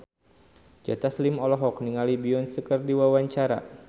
Joe Taslim olohok ningali Beyonce keur diwawancara